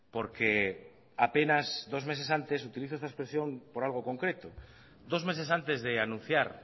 porque apenas dos meses antes utilizó esta expresión por algo concreto dos meses antes de anunciar